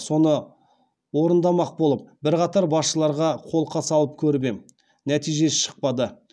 соны орындамақ болып бірқатар басшыларға қолқа салып көріп ем нәтиже шықпады